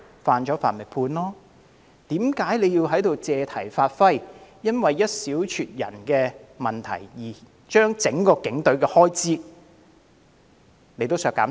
犯法就應接受審判，泛民議員為何要在此借題發揮，因為一少撮人的問題，而要求削減整個警隊的全年預算開支？